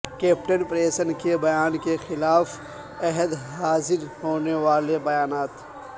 captain پریسن کے بیان کے خلاف عہد حاضر ہونے والے بیانات